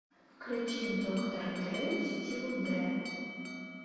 включи доктор дрэ стил дрэ